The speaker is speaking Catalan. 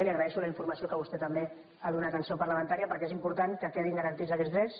i li agraeixo la infor·mació que vostè també ha donat en seu parlamentària perquè és important que quedin garantits aquests drets